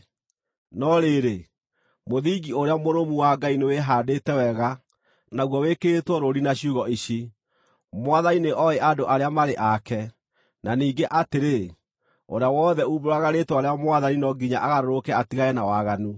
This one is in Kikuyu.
No rĩrĩ, mũthingi ũrĩa mũrũmu wa Ngai nĩwĩhaandĩte wega naguo wĩkĩrĩtwo rũũri na ciugo ici: “Mwathani nĩoĩ andũ arĩa marĩ ake,” na ningĩ atĩrĩ, “Ũrĩa wothe uumbũraga rĩĩtwa rĩa Mwathani no nginya agarũrũke atigane na waganu.”